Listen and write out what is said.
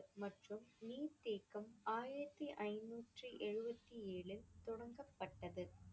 மற்றும் நீர்த்தேக்கம் ஆயிரத்தி ஐந்நூற்றி எழுபத்தி ஏழு தொடங்கப்பட்டது.